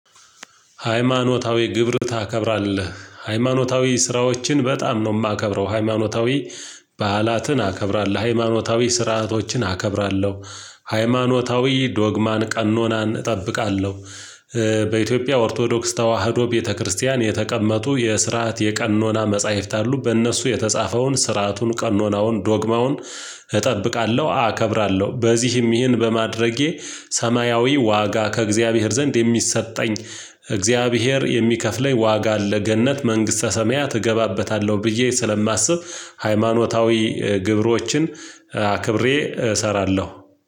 ሃይማኖታዊ ግብርን ታከብራለህ ሃይማኖታዊ ስራዎችን በጣም ነው የማከብረው ሃይማኖታዊ በዓላትን አከብራለሁ ሃይማኖታዊ ስርዓቶችን አከብራለሁ ሃይማኖታዊ ዶግማን ቀኖናን እጠብቃለሁ። በኢትዮጵያ ኦርቶዶክስ ተዋህዶ ቤተክርስቲያን የተቀመጡ የስርዓት የቀኖና መጽሐፍት አሉ። በእነሱ የተጻፈውን ስርዓቱን ቀኖናውን ዶግማውን እጠብቃለሁ አከብራለሁ። በዚህም ይህን በማድረጌ ሰማያዊ ዋጋ ከእግዚአብሔር ዘንድ የሚሰጠኝ። እግዚአብሔር የሚከፍለኝ ዋጋ አለ ገነት መንግስተ ሰማያት እገባበታለሁ ብዬ ስለማስብ ሃይማኖታዊ ግብሮችን አክብሬ እሰራለሁ።